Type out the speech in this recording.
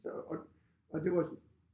Så og og det var